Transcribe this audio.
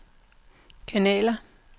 kanaler